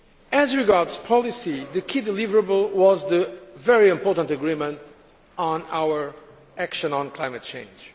As regards policy, the key deliverable was the very important agreement on our action on climate change.